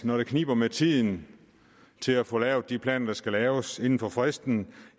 når det kniber med tiden til at få lavet de planer der skal laves inden for fristen